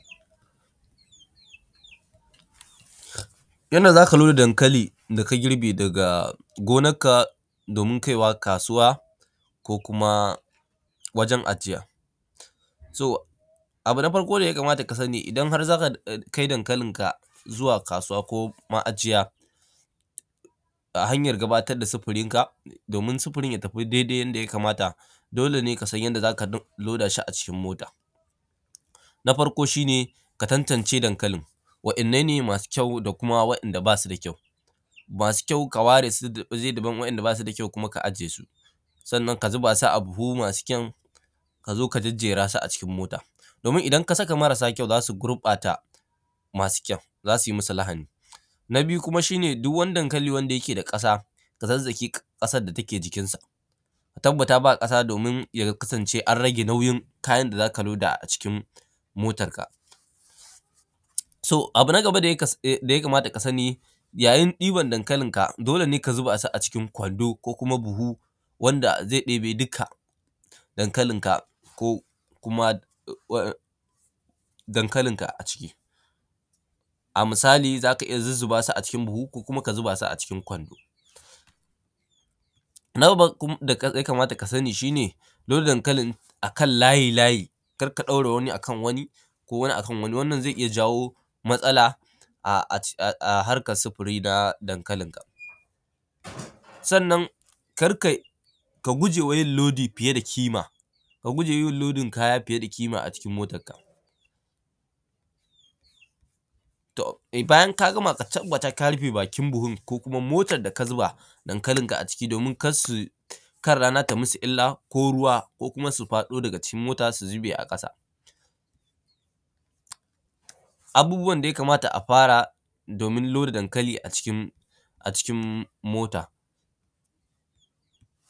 Yanda za ka lura da dankali da ka girbe daga gonarka, domin tance kaiwa kasuwa ko kuma wajen ajiya, to abu na farko da ya kamata ka sani idan har za ka kai dankalinka zuwa kasuwa ko ma’ajiya: hannyan gudanar da sifirinka domin sifirinka daidai yanda ya kamata. Dole ne ka san yanda za ka loda shi a cikin mota. Na farko shi ne ka tantance dankalin: wanne ne masu kyau da kuma wanda ba su da kyau. Masu kyau ka ware su waje daban, ka lura wainda ba su da kyau kuma ka ajiye su. Sannan ka zube su a buhu masu kyan ka zo ka jejjera su a cikin mota, domin idan ka saka marasa kyau za su gurbata masu kyau, za su musu lahani. Na biyu shi ne, duk wani dankali da ya ke da ƙasa, ka zazzagesu, ƙasan da yake jikin su. Ka tabbata ba ƙasa, domin ya kasance an rage nauyin kayan motanka. To abu na gaba da ya kamata ka sani, yayin ɗiban dankalinka, dole ne ka zube su a cikin gwando ko kuma buhu wanda ze ɗebe duka dankalinka. Ko ma dankankalinka a ciki a misali, za ka iya sa dankalinka a cikin buhu, ko kuma ka zubesu a cikin kwando. Na gaba da ka sain shi ne: don dankalin akan layi, a daura wani a kan wani, ko wani a kan wani, wannan ze iya jawo wani matsala a harkan sifirin dankalinka. Sannan ka guje wa yin lodin kaya fiya da ƙima a cikin motanka. To, bayan ka gama, ka tabbata ka rife bakin buhu, motan da ka zuba dankalinka aciki, domin kar su kar rana ta yi musu illa, ko ruwa, ko su faɗo daga cikin mota, su zube a ƙasa abubbuwan da ya kamata a fara domin loda dankali a cikin a cikin mota